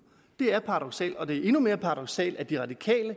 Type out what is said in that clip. det er paradoksalt det er endnu mere paradoksalt at de radikale